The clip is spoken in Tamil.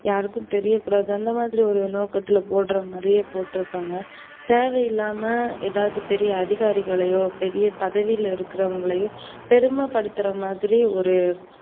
யாருக்கும் தெரியக்கூடாது அந்தமாதிரி ஒரு நோக்கத்துல போடுறமாதிரி போட்ருப்பாங்க. தேவையில்லாம எதாவது ஒரு பெரிய அதிகாரிகளையோ, பெரிய பதவியில இருக்கவங்களையோ பெருமபடுத்துறமாதிரி ஒரு